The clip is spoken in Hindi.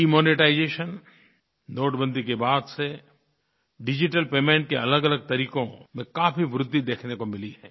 डिमोनेटाइजेशन नोटबंदी के बाद से डिजिटल पेमेंट के अलगअलग तरीक़ों में काफ़ी वृद्धि देखने को मिली है